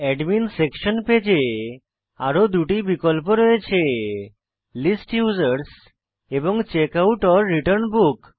admin section page এ আরো দুটি বিকল্প রয়েছে লিস্ট ইউজার্স এবং checkoutরিটার্ন বুক